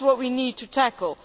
That is what we need to tackle.